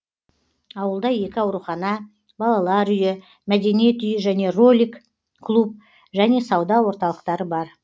ауылда екі аурухана балалар үйі мәдениет үйі және ролик клуб және сауда орталықтары бар